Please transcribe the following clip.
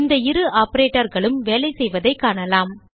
இந்த இரு Operatorகளும் வேலைசெய்வதைக் காணலாம்